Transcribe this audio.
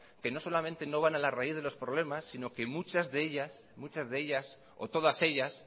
que no solamente no van a la raíz de los problemas sino que muchas de ellas o todas ellas